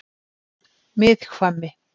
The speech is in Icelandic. Miðhvammi